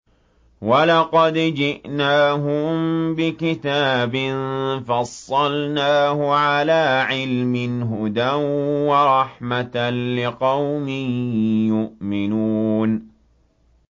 وَلَقَدْ جِئْنَاهُم بِكِتَابٍ فَصَّلْنَاهُ عَلَىٰ عِلْمٍ هُدًى وَرَحْمَةً لِّقَوْمٍ يُؤْمِنُونَ